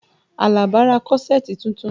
Alaba ra kọ́ṣẹ̀ẹ̀tì tuntun